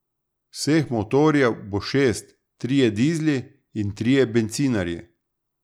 Vseh motorjev bo šest, trije dizli in trije bencinarji.